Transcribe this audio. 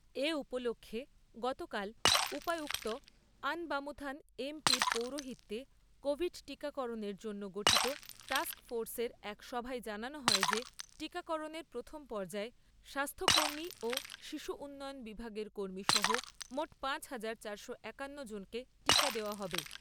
এ উপলক্ষে গতকাল উপায়ুক্ত আনবামুথান এম পি র পৌরোহিত্যে কোভিড টিকাকরণের জন্য গঠিত টাস্ক ফোর্সের এক সভায় জানানো হয় যে টিকাকরণের প্রথম পর্যায়ে স্বাস্থ্য কর্মী ও শিশু উন্নয়ন বিভাগের কর্মী সহ মোট পাঁচ হাজার চারশ একান্ন জনকে টিকা দেওয়া হবে।